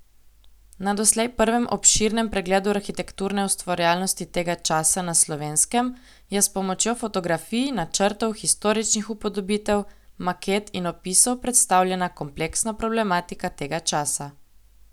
Na doslej prvem obširnem pregledu arhitekturne ustvarjalnosti tega časa na Slovenskem je s pomočjo fotografij, načrtov, historičnih upodobitev, maket in opisov predstavljena kompleksna problematika tega časa.